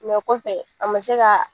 o kɔfɛ a man se ka